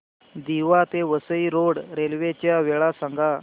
दिवा ते Vasai road railway च्या वेळा सांगा